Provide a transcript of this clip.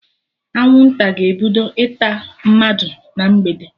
Anwụnta ga-ebido ịta mmadụ na mgbede